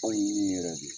Aw ye min yɛrɛ de